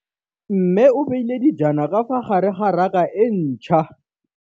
Mmê o beile dijana ka fa gare ga raka e ntšha.